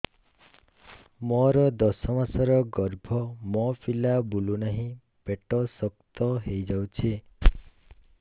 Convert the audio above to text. ମୋର ଦଶ ମାସର ଗର୍ଭ ମୋ ପିଲା ବୁଲୁ ନାହିଁ ପେଟ ଶକ୍ତ ହେଇଯାଉଛି